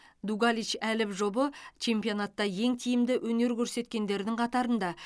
дугалич әліп жұбы чемпионатта ең тиімді өнер көрсеткендердің қатарында